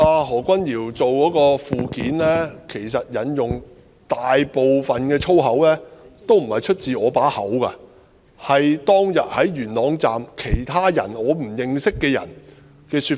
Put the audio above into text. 何君堯議員的附件所引用的大部分粗言穢語，也不是出自我口中，而是當天在元朗站的其他人——我不認識的人——的說法。